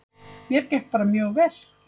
Mér gekk bara mjög vel.